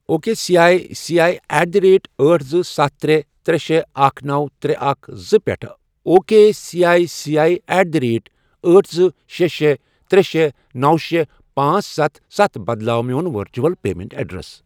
O K C I C I at the rate أٹھ، زٕ، ستھَ، ترے، ترے، شے، اکھَ، نوَ، ترے، اکھَ، زٕ، پٮ۪ٹھٕ O K C I C I at the rate أٹھ، زٕ، شے، شے، ترے، شے، نوَ، شے، پانژھ، ستھَ، ستھَ، بدلاو میون ورچول پیمنٹ ایڈریس۔